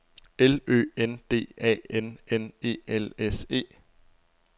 L Ø N D A N N E L S E